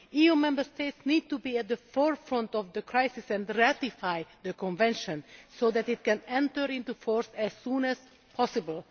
EU Member States need to be at the forefront of the crisis and ratify the Convention so that it can enter into force as soon as possible.